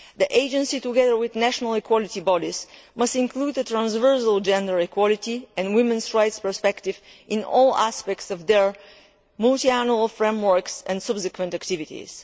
The Agency, together with national equality bodies, must include the transversal gender equality and women's rights perspective in all aspects of their multiannual frameworks and subsequent activities.